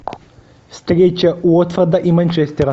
встреча уотфорда и манчестера